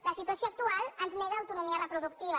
la situació actual ens nega autonomia reproductiva